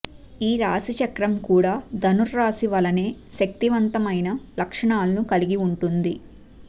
ఈ రాశిచక్రం కూడా ధనుస్సురాశి వలెనే శక్తివంతమైన లక్షణాలను కలిగి ఉంటుంది